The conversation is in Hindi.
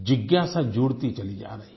जिज्ञासा जुड़ती चली जा रही है